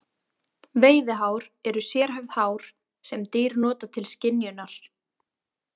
Veiðihár eru sérhæfð hár sem dýr nota til skynjunar.